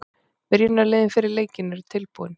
Byrjunarliðin fyrir leikinn eru tilbúin.